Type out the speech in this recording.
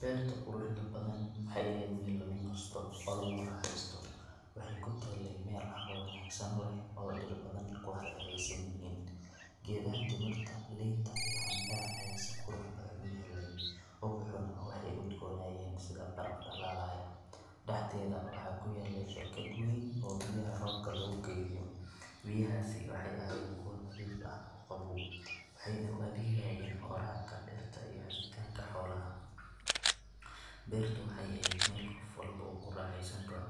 Beerta quruxda badan waxay ahayd meel lagu nasto oo lagu raaxaysto, waxay ku taallay meel carro wanaagsan leh oo dhir badan ku hareeraysan yihiin. Geedaha timirta, liinta iyo cambeha ayaa si qurux badan u yaallay, ubaxuna waxay udgoonayeen sida baraf dhalaalaya. Dhexdeeda waxaa ku yaallay barkad weyn oo biyaha roobka lagu kaydiyo, biyahaasi waxay ahaayeen kuwo nadiif ah oo qabow, waxayna u adeegayeen waraabka dhirta iyo cabitaanka xoolaha. Beertu waxay ahayd meel qof walba uu ku raaxaysan karo,